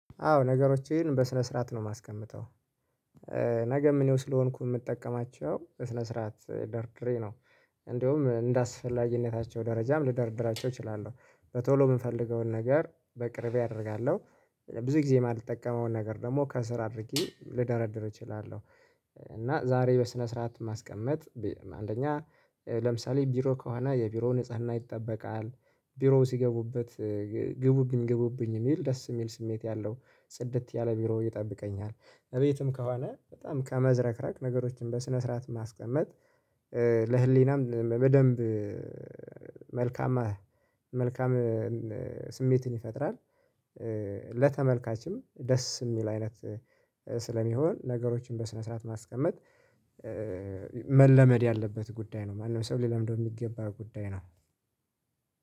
አዎ ነገሮችን በስነ ስርዓት ነው የማስቀምጠው ነገ እኔው ስለሆንኩኝ የምጠቀማቸው በስነ ስርዓት ደርድሬ ነው። እንደውም እንደአስፈላጊነታቸው ደረጃም ልደርድራቸው እችላለሁ። በቶሎ የምንፈልገውን ነገር በቅርብ አደርጋለሁ። ብዙ ጊዜ የማልጠቀመውን ነገር ደግሞ ከስር አድርጊ ልደረድር እችላለሁ። እና ዛሬ በስነ ስርዓት ማስቀመጥ አንደኛ ለምሳሌ ቢሮ ከሆነ የቢሮ ንጽህና ይጠበቃል። ቢሮ ሲገቡበት ግቡብኝ ግቡብኝ የሚል ደስ የሚል ስሜት ያለው ጽድት ያለ ቢሮ ይጠብቀኛል። በየትም ከሆነ በጣም ከመዝረክራክ ነገሮችን በስነ ስርዓት ማስቀመጥ ለህሊናም በደንብ መልካም ስሜትን ይፈጥራል። ለተመልካችም ደስ የሚል አይነት ስለሚሆን ነገሮችን በስነ ስርዓት ማስቀመጥ መለመድ ያለበት ጉዳይ ነው። ማንም ሰው ሊለምደው የሚገባ ጉዳይ ነው።